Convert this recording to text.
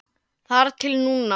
Þar til núna.